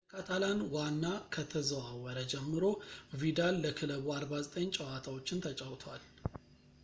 ወደ ካታላን ዋና ከተዘዋወረ ጀምሮ ቪዳል ለክለቡ 49 ጨዋታዎችን ተጫውቷል